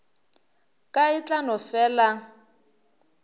ka e tla no fela